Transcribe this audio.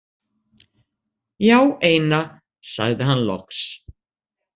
Já, eina, sagði hann loks.